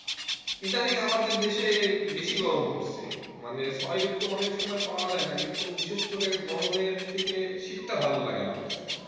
ইদানিং আমাদের দেশে বেশি গরম পড়ছে মানে ছয় ঋতু অনেক সময় পাওয়া যায় না কিন্তু বিশেষ করে গরমের থেকে শীতটা ভালো লাগে আমার কাছে।